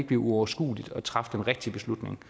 bliver uoverskueligt at træffe den rigtige beslutning